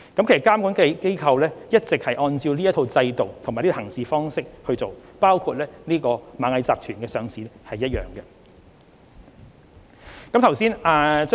其實，監管機構一直按照這套制度和行事方式工作，處理螞蟻集團的上市申請時亦然。